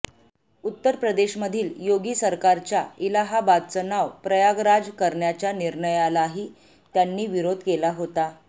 उत्तर प्रदेशमधील योगी सरकारच्या इलाहाबादचं नाव प्रयागराज करण्याच्या निर्णयालाही त्यांनी विरोध केला होता